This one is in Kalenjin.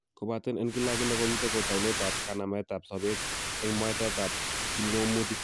Kobaten en kila ak kila ko ni ko taunetab kanametab sobeet, en mwaetab kipng'omutik